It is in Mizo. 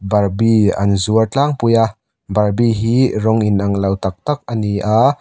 barbie an zuar tlangpui a barbie hi rawng inang lo tak tak ani a.